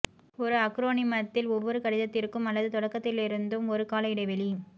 ஒரு அக்ரோனிமத்தில் ஒவ்வொரு கடிதத்திற்கும் அல்லது தொடக்கத்திலிருந்தும் ஒரு கால இடைவெளி